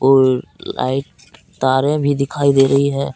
पुल light तारे भी दिखाई दे रही है।